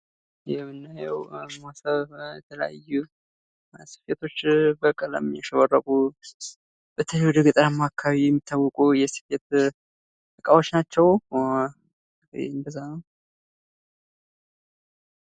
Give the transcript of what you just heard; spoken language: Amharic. ይህ የምናየው የተለያዩ ስፌቶች በቀለም ያሸበረቁ ሲሆኑ፤ በተለይ ወደ ገጠሩ አካባቢ የሚታወቁ የስፌት አይነቶች ናቸው ።